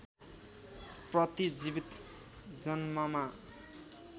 प्रति जीवित जन्ममा